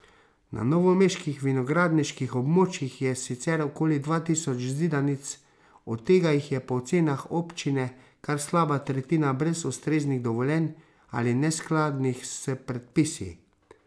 Na novomeških vinogradniških območjih je sicer okoli dva tisoč zidanic, od tega jih je po ocenah občine kar slaba tretjina brez ustreznih dovoljenj ali neskladnih s predpisi.